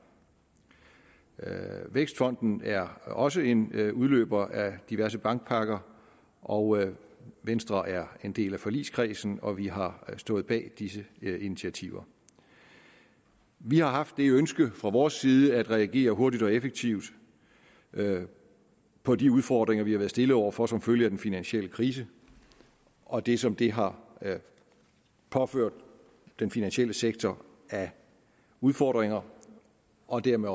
vækstfonden er også en udløber af diverse bankpakker og venstre er en del af forligskredsen og vi har stået bag disse initiativer vi har haft det ønske fra vores side at reagere hurtigt og effektivt på de udfordringer vi har været stillet over for som følge af den finansielle krise og det som det har påført den finansielle sektor af udfordringer og dermed